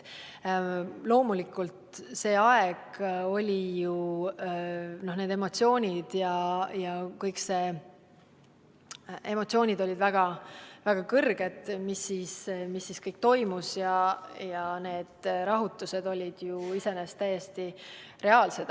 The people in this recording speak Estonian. Loomulikult see aeg oli, emotsioonid olid väga tugevad seoses kõige sellega, mis toimus, ja rahutused olid ju iseenesest täiesti reaalsed.